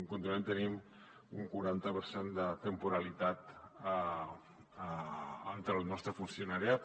continuem tenint un quaranta per cent de temporalitat entre el nostre funcionariat